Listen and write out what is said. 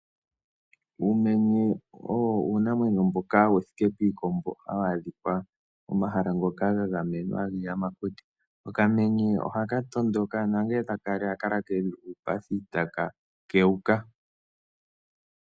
Uumenye owo uunamwenyo mboka wuthike piikombo hawu adhika pomahala ngoka gagamenwa giiyamakuti. Okamenye ohaka tondoka nangele taka li ohaka kala keli uupathi taka kewuka.